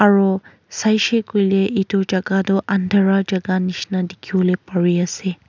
aro saise koiley etu jaga tu andhera jaga nisna dikhi bole pare ase.